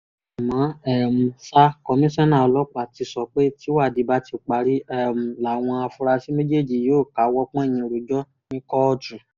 àmọ́ um ṣá kọmíṣánná ọlọ́pàá ti sọ pé tìwádìí bá ti parí um làwọn afurasí méjèèjì yóò káwọ́ pọ̀nyìn rojọ́ ní kóòtù